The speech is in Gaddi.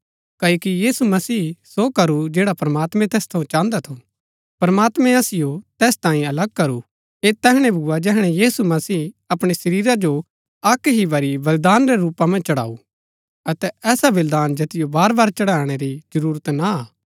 क्ओकि यीशु मसीह सो करू जैड़ा प्रमात्मां तैस थऊँ चाहन्दा थू प्रमात्मैं असिओ तैस तांये अलग करू ऐह तैहणै भूआ जैहणै यीशु मसीह अपणै शरीरा जो अक्क ही बरी बलिदान रै रूपा मन्ज चढ़ाऊ अतै ऐसा बलिदान जैतिओ बारबार चढ़ाणै री जरूरत ना हा